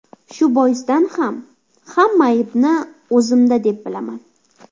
Shu boisdan ham hamma aybni o‘zimda deb bilaman.